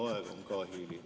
Aeg on ka hiline.